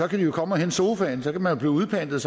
kan de jo komme og hente sofaen så kan man blive udpantet